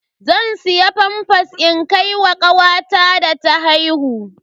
Zan siya famfas in kai ma kawata da ta haihu.